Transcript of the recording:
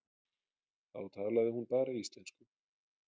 Þá talaði hún bara íslensku.